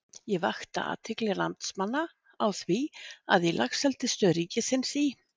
Ég vakti athygli landsmanna á því að í Laxeldisstöð ríkisins í